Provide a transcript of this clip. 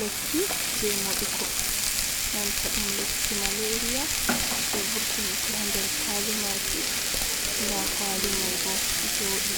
Lekki je moɗugo nanta ɗum lekki malairiya, je vurtinki ha nder kwali maki, nda kwali mai bo joɗi,